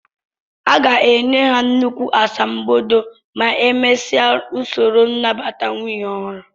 A ga-enye ha nnukwu asambodo ma emesia usoro nnabata nwunye ọhụrụ